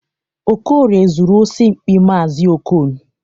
Okorie zuru osi mkpị maazi Okon.